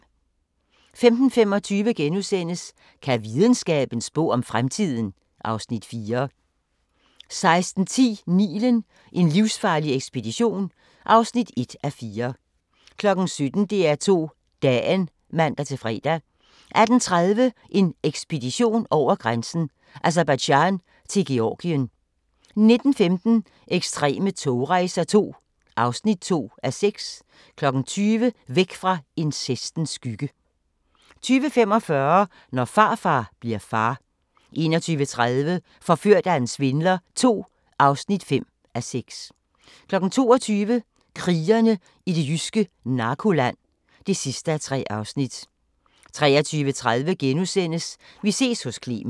15:25: Kan videnskaben spå om fremtiden? (Afs. 4)* 16:10: Nilen: En livsfarlig ekspedition (1:4) 17:00: DR2 Dagen (man-fre) 18:30: En ekspedition over grænsen: Aserbajdsjan til Georgien 19:15: Ekstreme togrejser II (2:6) 20:00: Væk fra incestens skygge 20:45: Når farfar bli'r far 21:30: Forført af en svindler II (5:6) 22:00: Krigerne i det jyske narkoland (3:3) 23:30: Vi ses hos Clement *